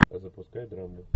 запускай драму